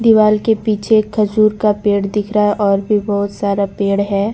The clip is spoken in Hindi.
दीवाल के पीछे खजूर का पेड़ दिख रहा है और भी बहुत सारा पेड़ है।